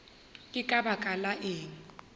ke ka baka la eng